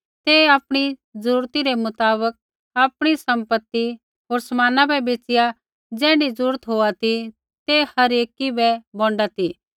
ते आपणी ज़रूरती रै मुताबक आपणी सम्पति होर समान बै बेच़िआ ज़ैण्ढी ज़रूरत होआ ती ते हर एकी बै बोंडा ती